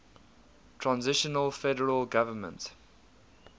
transitional federal government